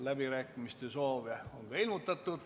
Läbirääkimiste soovi on ka ilmutatud.